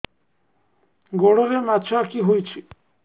ଗୋଡ଼ରେ ମାଛଆଖି ହୋଇଛି